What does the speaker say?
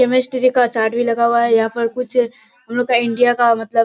chemistry का chart भी लगा हुआ है यहां पर कुछ हमलोग का इंडिया का मतलब --